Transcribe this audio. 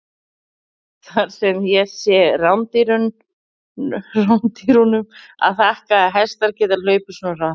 Það er sem sé rándýrunum að þakka að hestar geta hlaupið svona hratt!